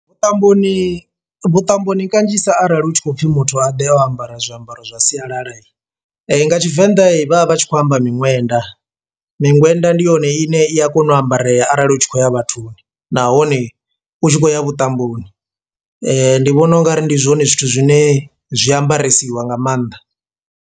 Vhuṱamboni vhuṱamboni kanzhisa arali hu tshi khou pfhi muthu a ḓe o ambara zwiambaro zwa sialala, nga Tshivenḓa he vhavha vhatshi kho amba miṅwenda. Miṅwenda ndi yone ine i a kona u ambareya arali u tshi khou ya vhathuni nahone u tshi khou ya vhuṱamboni ndi vhona ungari ndi zwone zwithu zwine zwiambaresiwa nga maanḓa.